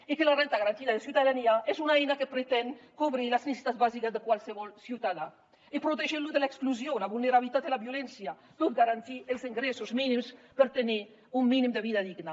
i que la renda garantida de ciutadania és una eina que pretén cobrir les necessitats bàsiques de qualsevol ciutadà i protegir lo de l’exclusió la vulnerabilitat i la violència tot garantint els ingressos mínims per tenir un mínim de vida digna